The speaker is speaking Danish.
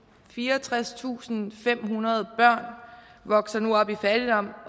fireogtredstusinde og femhundrede børn vokser nu op i fattigdom